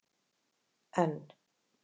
N